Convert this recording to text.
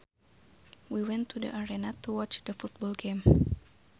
We went to the arena to watch the football game